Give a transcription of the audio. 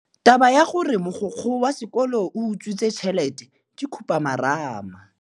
Taba ya gore mogokgo wa sekolo o utswitse tšhelete ke khupamarama.